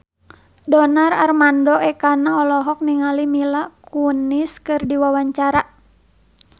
Donar Armando Ekana olohok ningali Mila Kunis keur diwawancara